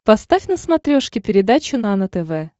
поставь на смотрешке передачу нано тв